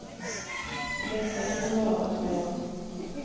Detta kan man ju bara hålla med om.